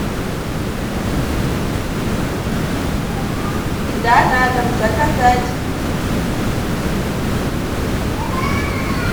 еда на дом заказать